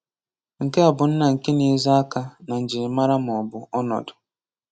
Nke a bụ nna nke na-ezo aka na njirimara maọbụ ọnọdụ.